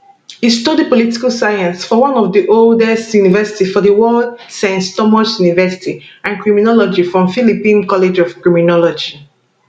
e study political science for one of di oldest university for di world sans thomas university and criminology from philippine college of criminology